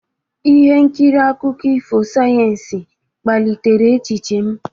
Ihe nkiri akụkọ ifo sayensị kpalitere echiche m.